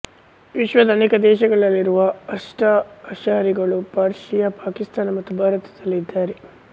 ವಿಶ್ವದ ಅನೇಕ ದೇಶಗಳಲ್ಲಿರುವ ಅಸ್ನಾಆಷಾರಿಗಳು ಪರ್ಷಿಯ ಪಾಕಿಸ್ತಾನ ಮತ್ತು ಭಾರತದಲ್ಲೂ ಇದ್ದಾರೆ